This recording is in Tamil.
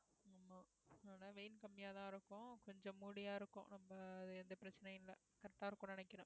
ஆமா ஆனா வெயில் கம்மியா தான் இருக்கும் கொஞ்சம் மூடியா இருக்கும் ரொம்ப எந்த பிரச்சனையும் இல்ல correct ஆ இருக்கும்னு நினைக்கிறேன்